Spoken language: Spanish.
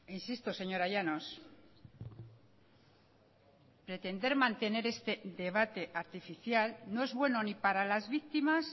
insisto señora llanos pretender mantener este debate artificial no es bueno ni para las víctimas